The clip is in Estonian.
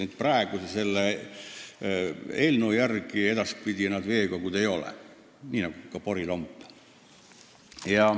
Need praeguse eelnõu järgi veekogud ei ole, nii nagu ka porilomp.